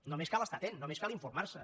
només cal estar atent només cal informarse